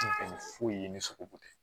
foyi ye ni sogobu tɛ